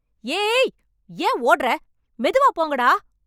ஏ ஏய்... ஏன் ஓட்ற... மெதுவா போங்கடா.